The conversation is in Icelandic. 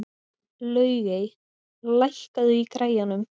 Laugey, lækkaðu í græjunum.